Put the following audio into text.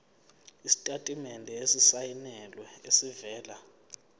isitatimende esisayinelwe esivela